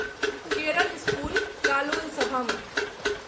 Kerala school Kalolsavam